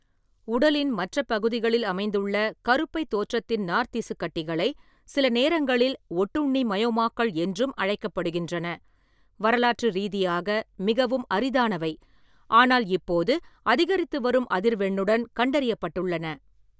உடலின் மற்ற பகுதிகளில் அமைந்துள்ள கருப்பை தோற்றத்தின் நார்த்திசுக்கட்டிகளை, சில நேரங்களில் ஒட்டுண்ணி மயோமாக்கள் என்றும் அழைக்கப்படுகின்றன, வரலாற்று ரீதியாக மிகவும் அரிதானவை, ஆனால் இப்போது அதிகரித்து வரும் அதிர்வெண்ணுடன் கண்டறியப்பட்டுள்ளன.